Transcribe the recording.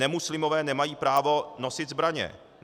Nemuslimové nemají právo nosit zbraně.